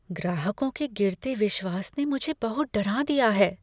ग्राहकों के गिरते विश्वास ने मुझे बहुत डरा दिया है।